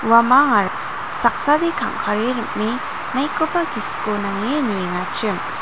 saksade kangkare rim·e maikoba gisiko nange niengachim.